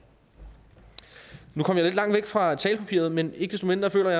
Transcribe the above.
nu kom jeg lidt langt væk fra talepapiret men ikke desto mindre